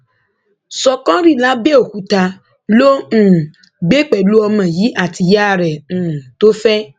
ṣọkọrí làbẹòkúta ló um ń gbé pẹlú ọmọ yìí àti ìyá rẹ um tó fẹ